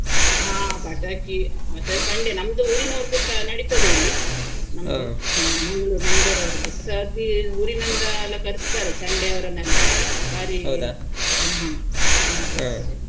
ಹ ಪಟಾಕಿ, ಮತ್ತೆ ಚೆಂಡೆ, ನಮ್ದು ಉರಿನವರದ್ದುಸ ನಡಿತದೆ ಇಲ್ಲಿ. ಹ Manglore Manglore ಅವರದ್ದುಸ ಬಿ~ ಊರಿನಿಂದ ಎಲ್ಲ ಕರಿಸ್ತಾರೆ ಚೆಂಡೆಯವರನ್ನು ಎಲ್ಲ, ಹ್ಮ್ ಹ .